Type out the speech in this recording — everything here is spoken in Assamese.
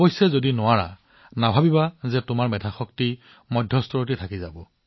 অৱশ্যে যদি আপুনি নকৰে আপুনি ইয়াক মধ্যমীয়া বুলি নাভাবিব